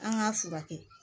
An k'a furakɛ